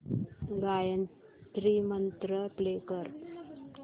Gayatri mantra play कर